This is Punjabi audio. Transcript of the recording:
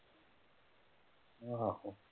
ਆਹੋ